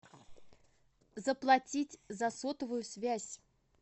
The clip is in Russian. заплатить за сотовую связь